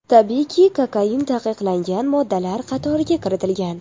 Tabiiyki, kokain taqiqlangan moddalar qatoriga kiritilgan.